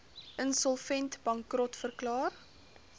insolvent bankrot verklaar